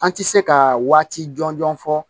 An ti se ka waati jɔnjɔn fɔ